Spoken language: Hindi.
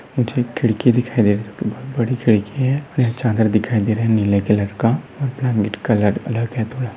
मुझे एक खिड़की दिखाई दे रही है जो कि बोहत बड़ी खिड़की है और एक चादर दिखाई दे रही है नीले कलर का और ब्लैंकेट कलर अलग है थोड़ा --